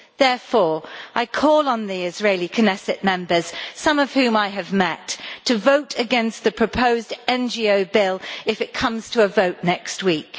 Therefore, I call on the Israeli Knesset Members, some of whom I have met, to vote against the proposed NGO bill if it comes to a vote next week.